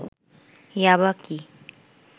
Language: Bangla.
ইয়াবা কি